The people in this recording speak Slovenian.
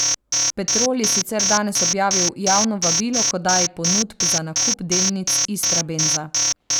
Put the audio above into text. Petrol je sicer danes objavil javno vabilo k oddaji ponudb za nakup delnic Istrabenza.